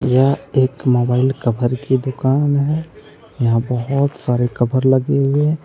यह एक mobile cover की दुकान है। यहां बहोत सारे कभर लगे हुए हैं।